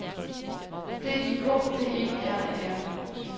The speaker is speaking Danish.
D I K T E R E R